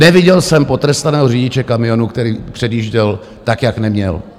Neviděl jsem potrestaného řidiče kamionu, který předjížděl tak, jak neměl.